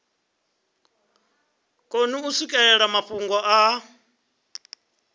koni u swikelela mafhungo a